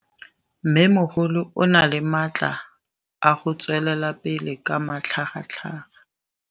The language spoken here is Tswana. Mmêmogolo o na le matla a go tswelela pele ka matlhagatlhaga.